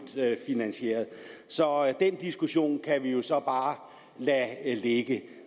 finansieret så den diskussion kan vi jo så bare lade ligge